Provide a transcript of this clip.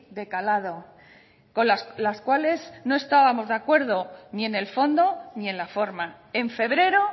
de calado con las cuales no estábamos de acuerdo ni en el fondo ni en la forma en febrero